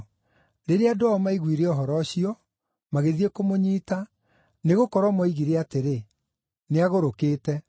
Rĩrĩa andũ ao maiguire ũhoro ũcio, magĩthiĩ kũmũnyiita, nĩgũkorwo moigire atĩrĩ, “Nĩagũrũkĩte.”